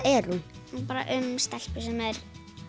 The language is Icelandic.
er um stelpu sem er